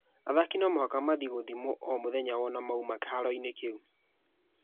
Athaki no mũhaka mathiĩ gũthimwa o mũthenya wona moima kĩharoinĩ kĩu.